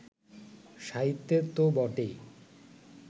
সাহিত্যে তো বটেই